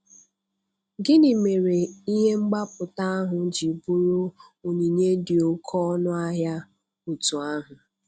Gịnị mere ihe mgbapụta ahụ ji bụrụ onyinye dị oké ọnụ ahịa otú ahụ?